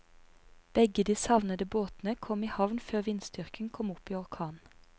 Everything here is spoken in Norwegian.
Begge de savnede båtene kom i havn før vindstyrken kom opp i orkan.